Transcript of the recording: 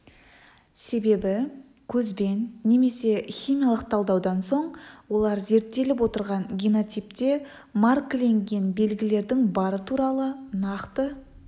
себебі көзбен немесе химиялық талдаудан соң олар зерттеліп отырған генотипте маркіленген белгілердің бары туралы нақты